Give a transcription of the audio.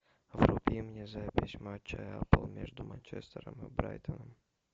вруби мне запись матча апл между манчестером и брайтоном